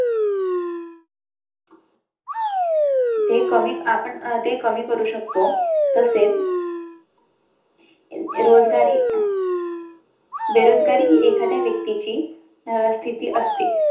ते कमी आपण अं ते कमी करू शकतो तसेच . रोजगारी . अं बेरोजगारी ही एखाद्या व्यक्ती ची स्थिती असते.